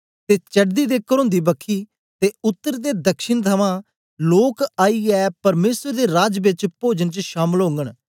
ते चडदी ते करोंदी बखी ते उतर ते दक्षिण थमां लोक आईयै परमेसर दे राज बेच पोजन च शामल ओगन